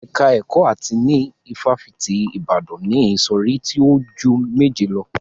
Ẹ̀ka ẹkọ áàtì ní ifáfitì Ibadan ni ìsọ̀rí tí o ju méje lọ.